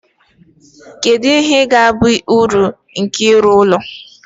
kedu ihe ga-abụ uru nke ịrụ ụlọ elu